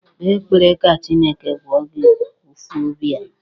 Kpee ekpere ka Chineke gwọọ gị ụ̀fụ́ obi ahụ!